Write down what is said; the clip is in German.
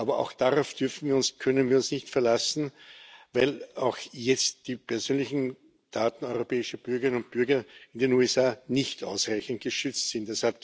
Aber auch darauf können wir uns nicht verlassen, weil auch jetzt die persönlichen Daten europäischer Bürgerinnen und Bürger in den USA nicht ausreichend geschützt sind.